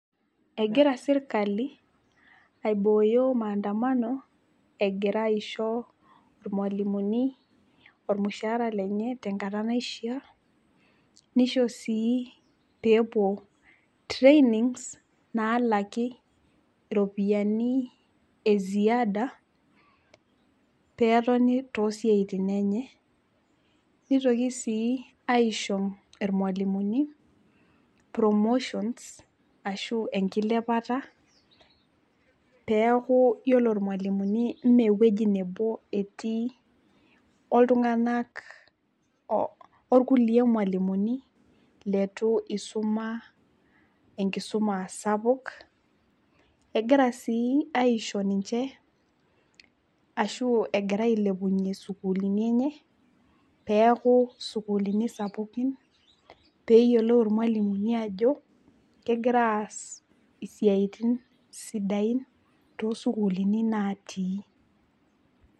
Egira sirkali aibooyo maandamano egira aisho irmwalimuni ormushaara lenye tenkata naishiaa, nishoo sii peepuo training nalaki iropiyiani eziada petoni tosiatin enye. Nitoki sii aisho irmwalimuni promotions ashu enkilepata peeku yiolo irmwalimuni mee ewueji nebo etii oltunganak , orkulie mwalimuni letu isuma enkisuma sapuk . Egira sii aisho ninche ashu egira ailepunyie sukuulini enye peeku sukuulini sapukin peyiolou irmwalimuni ajo kegira aas isiatin sidain tosukuulini natii.